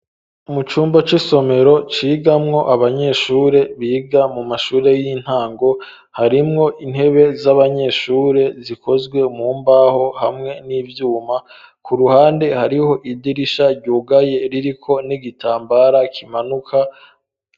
Mu cumba c'isomero cigamwo abanyeshure biga mu mashure y'intango, harimwo intebe z'abanyeshure zikozwe mu mbaho hamwe n'ivyuma ,ku ruhande hariho idirisha ryugaye ririko n'igitambara kimanuka.